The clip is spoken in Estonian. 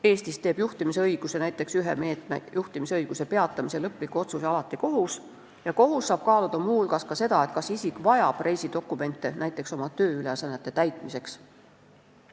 Eestis teeb näiteks juhtimisõiguse ühe meetme, juhtimisõiguse peatamise lõpliku otsuse alati kohus ja kohus saab muu hulgas kaaluda ka seda, kas isik vajab reisidokumente näiteks oma tööülesannete täitmiseks.